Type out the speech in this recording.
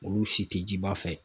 Olu si tɛ jiba fɛ